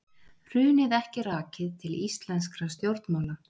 Hrunið ekki rakið til íslenskra stjórnmála